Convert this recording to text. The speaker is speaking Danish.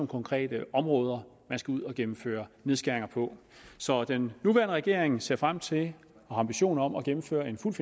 konkrete områder man skal ud at gennemføre nedskæringer på så den nuværende regering ser frem til og har ambitioner om at gennemføre en fuldt